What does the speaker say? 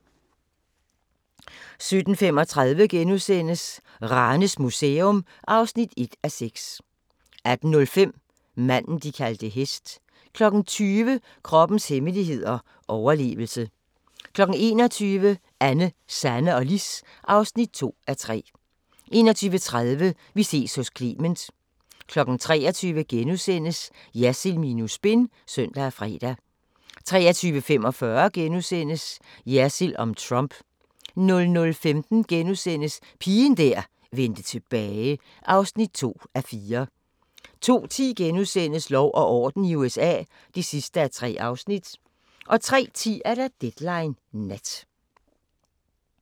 17:35: Ranes Museum (1:6)* 18:05: Manden, de kaldte hest 20:00: Kroppens hemmeligheder: Overlevelse 21:00: Anne, Sanne og Lis (2:3) 21:30: Vi ses hos Clement 23:00: Jersild minus spin *(søn og fre) 23:45: Jersild om Trump * 00:15: Pigen der vendte tilbage (2:4)* 02:10: Lov og orden i USA (3:3)* 03:10: Deadline Nat